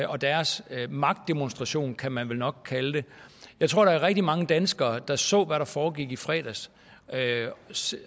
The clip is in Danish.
og deres magtdemonstration kan man vel nok kalde det jeg tror der var rigtig mange danskere der så hvad der foregik i fredags